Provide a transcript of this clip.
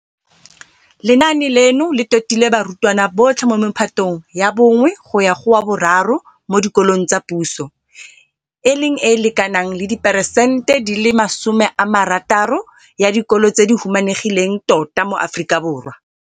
Lenaane leno le totile barutwana botlhe mo mephatong ya 1 go ya go wa bo 3 mo dikolong tsa puso, e leng e e lekanang le 60peresente ya dikolo tse di humanegileng tota mo Aforika Borwa.